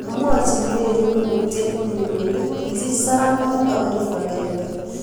mamwochi Mary ungotyet nyi kole kisich saramek ak korip akenge